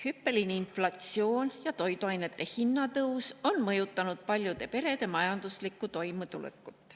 Hüppeline inflatsioon ja toiduainete hinna tõus on mõjutanud paljude perede majanduslikku toimetulekut.